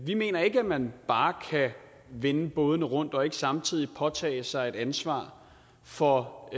vi mener ikke at man bare kan vende bådene og ikke samtidig påtage sig et ansvar for